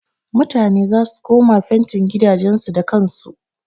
Mutane zasu koma fentin gidajen su da kan su.